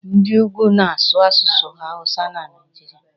Ndị ugwu na-asụ asụsụ hawusa na Naijiria.